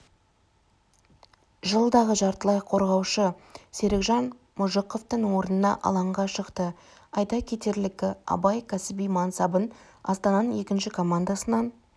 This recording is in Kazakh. жастағы жартылай қорғаушы серікжан мұжықовтың орнына алаңға шықты айта кетерлігі абай кәсіби мансабын астананың екінші командасынан